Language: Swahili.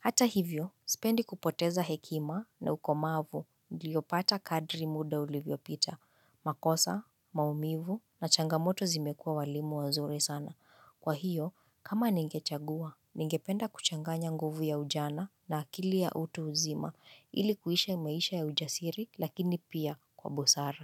Hata hivyo, sipendi kupoteza hekima na ukomavu ndio pata kadri muda ulivyo pita. Makosa, maumivu na changamoto zimekua walimu wazuri sana. Kwa hiyo, kama ningechagua, ningependa kuchanganya nguvu ya ujana na akili ya utu uzima ili kuishi maisha ya ujasiri lakini pia kwa mbusara.